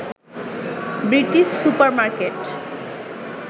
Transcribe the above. British supermarket